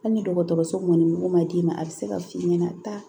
Hali ni dɔgɔtɔrɔso mɔniko ma d'i ma a bɛ se ka f'i ɲɛna taa